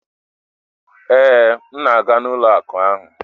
Ee, m na-aga ụlọ akụ ahụ